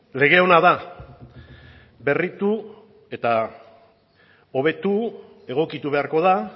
lege ona da berritu eta hobetu egokitu beharko da